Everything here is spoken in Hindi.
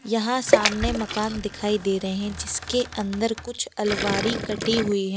यहाँ सामने मकान दिखाई दे रहे हैं जिसके अंदर कुछ अलवारी कटी हुई है।